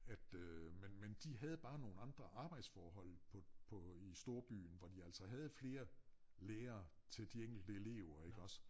At øh men men de havde bare nogen andre arbejdsforhold på på i storbyen hvor de altså havde flere lærere til de enkelt elever iggås